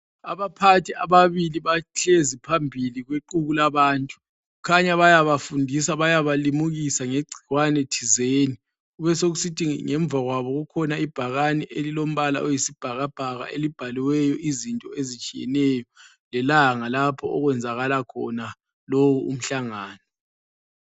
Abaphathi ababili bahlezi phambili kwexuku labantu. Kukhanya bayabafundisa, bayabalimukisa ngegcikwane thizeni. Besekusithi ngemuva kwabo kukhona ibhakane elilombala oyisibhakabhaka elibhaliweyo izinto ezitshiyeneyo lelanga lapho okwenzakala khona lowo umhlangano.